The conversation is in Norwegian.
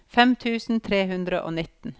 fem tusen tre hundre og nitten